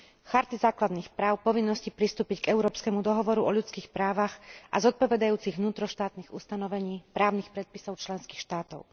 Charty základných práv, povinnosti pristúpiť k Európskemu dohovoru o ľudských právach a zodpovedajúcich vnútroštátnych ustanovení právnych predpisov členských štátov.